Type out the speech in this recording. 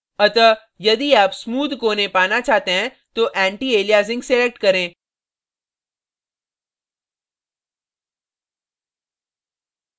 अतः यदि आप smooth कोने पाना चाहते हैं तो antialiasing select करें